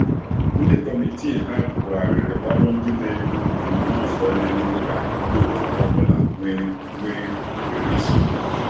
ndi komitii ha bughariri ọrụ ndi na-edu ndu n'ụzọ na-eme ka ndi otu ha ọbụla nwee nwee ohere isonye.